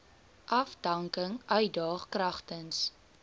afdanking uitdaag kragtens